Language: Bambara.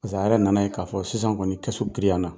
Zan yɛrɛ nan'a ye k'a fɔ sisan kɔni giriyana.